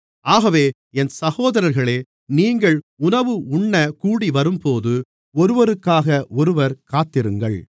ஆகவே என் சகோதரர்களே நீங்கள் உணவு உண்ணக் கூடிவரும்போது ஒருவருக்காக ஒருவர் காத்திருங்கள்